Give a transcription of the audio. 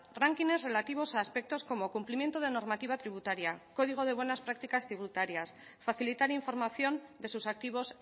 ránquines relativos a aspectos como cumplimiento de normativa tributaria código de buenas prácticas tributarias facilitar información de sus activos